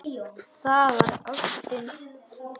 Það var ástin.